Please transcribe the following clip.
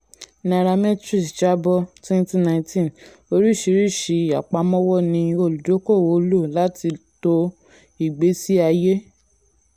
nairametrics jábọ́ twenty nineteen: orísìírísìí àpamọ́wọ́ ni olùdókòwò lò láti to ìgbésí ayé.